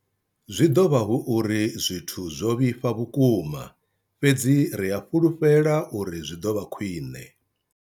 Zwi ḓo vha hu uri zwithu zwo vhifha vhukuma, fhedzi ri a fhulufhela uri zwi ḓo vha khwiṋe.